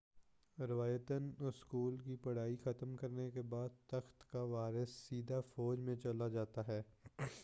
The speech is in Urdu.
روایتاً اسکول کی پڑھائی ختم کرنے کے بعد تخت کا وارث سیدھے فوج میں چلا جاتا تھا